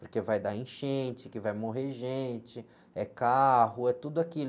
porque vai dar enchente, que vai morrer gente, é carro, é tudo aquilo.